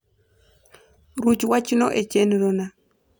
ruch wach no e chenro na